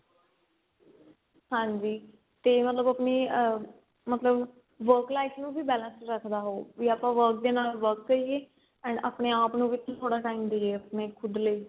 ਹਾਂਜੀ ਤੇ ਮਤਲਬ ਆਪਣੀ ਆ ਮਤਲਬ work life ਨੂੰ ਵੀ balance ਰੱਖਦਾ ਹੋਊ ਵੀ ਆਪਾਂ work ਦੇ ਨਾਲ work ਕਰੀਏ and ਆਪਣੇ ਆਪ ਨੂੰ ਵੀ ਥੋੜਾ time ਦਈਏ ਆਪਣੇ ਖੁਦ ਲਈ